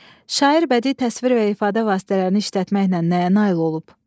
Şair bədii təsvir və ifadə vasitələrini işlətməklə nəyə nail olub?